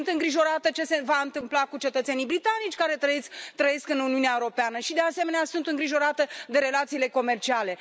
Sunt îngrijorată de ce se va întâmpla cu cetățenii britanici care trăiesc în Uniunea Europeană și, de asemenea, sunt îngrijorată de relațiile comerciale.